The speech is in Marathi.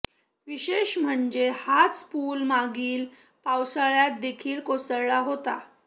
विशेष म्हणजे हाच पुल मागील पावसाळ्यात देखील कोसळला होता